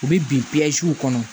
U bɛ bin kɔnɔ